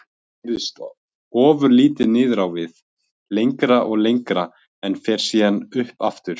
Það hreyfist ofurlítið niður á við. lengra og lengra, en fer síðan upp aftur.